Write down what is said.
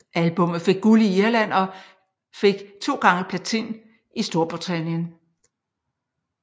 Albummet fik guld i Irland og gik 2x platin i Storbritannien